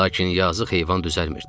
Lakin yazıq heyvan düzəlmirdi.